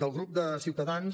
del grup de ciutadans